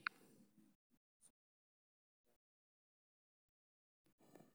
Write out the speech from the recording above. Tignoolajiyada cusubi waxay wanaajin kartaa hababka waxbaridda iyo waxbarashada.